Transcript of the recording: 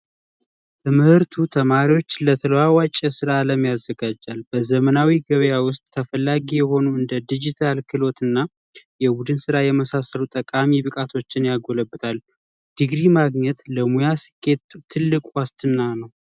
ትምህርት ተማሪዎችን ለተለዋዋጭ ስራ አለም ያዘጋጃል። በዘመናዊ ገበያ ውስጥ ተፈላጊ የሆኑ እንደ ዲጂታል ክህሎት እና የቡድን ስራ የመሳሰሉ ጠቃሚ ብቃቶችን ያጎለብታል። ዲግሪ ማግኘት ለሙያ ስኬት ትልቅ ዋስትና ነው።